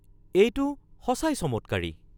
এইটো সঁচাই চমৎকাৰী!